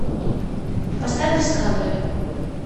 поставь дискавери